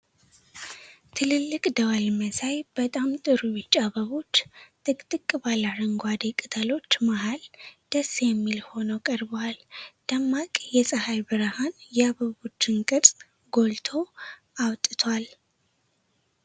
ትልልቅ ደወል መሳይ በጣም ጥሩ ቢጫ አበቦች ጥቅጥቅ ባለ አረንጓዴ ቅጠሎች መሃል ደስ የሚል ሆነው ቀርበዋል። ደማቅ የፀሐይ ብርሃን የአበቦቹን ቅርፅ ጎልቶ አውጥቷል።